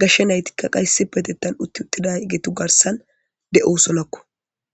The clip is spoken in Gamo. gashsha naytikka qa issi petettan utti uttida geetu garsan de7o sonakko